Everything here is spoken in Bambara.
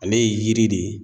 Ale ye yiri de ye